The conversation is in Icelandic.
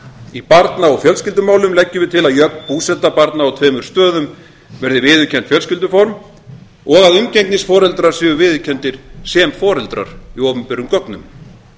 í barna og fjölskyldumálum leggjum við til að jöfn búseta barna á tveimur stöðum verði viðurkennt fjölskylduform og að umgengnisforeldrar séu viðurkenndir sem foreldrar í opinberum gögnum